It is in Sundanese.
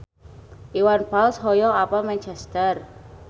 Iwan Fals hoyong apal Manchester